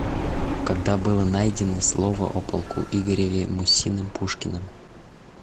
когда было найдено слово о полку игореве мусиным пушкиным